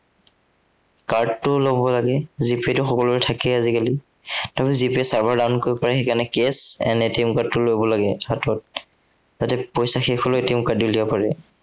card টো লব লাগে G pay টো সকলোৰে থাকেই আজিকালি। তথাপি G pay ৰ server ৰ down কৰিব পাৰে, সেই কাৰনে cash and card টো লব লাগে হাতত। যাতে পইচা শেষ হলেও card ৰে উলিয়াব পাৰে।